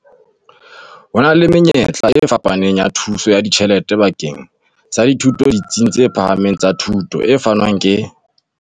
Ho na le menyetla e fapaneng ya thuso ya ditjhelete bakeng sa dithuto ditsing tse phahameng tsa thuto, e fanwang ke.